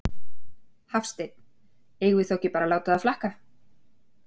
Hafsteinn: Eigum við þá ekki bara að láta það flakka?